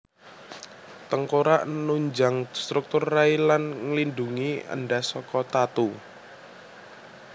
Tengkorak nunjang struktur rai lan nglindhungi endhas saka tatu